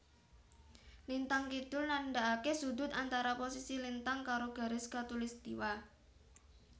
Lintang kidul nandaake sudut antara posisi lintang karo garis Katulistwa